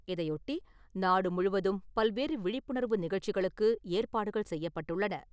இதையொட்டி நாடு முழுவதும் பல்வேறு விழிப்புணர்வு நிகழ்ச்சிகளுக்கு ஏற்பாடுகள் செய்யப்பட்டுள்ளன .